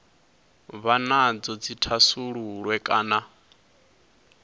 vha nadzo dzi thasululwe kana